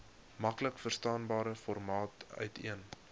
maklikverstaanbare formaat uiteen